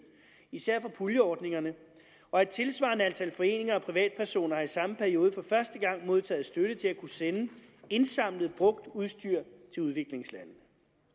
især fra puljeordningerne og et tilsvarende antal foreninger og privatpersoner har i samme periode for første gang modtaget støtte til at kunne sende indsamlet brugt udstyr til udviklingslandene